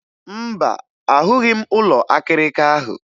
Mba, ahụghị m ụlọ akịrịka ahụ.